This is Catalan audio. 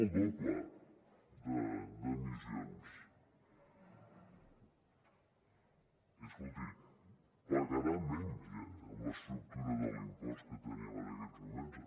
el doble d’emissions i escolti pagarà menys eh amb l’estructura de l’impost que tenim en aquests moments